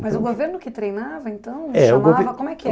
Mas o governo que treinava, então, chamava, como é que, é o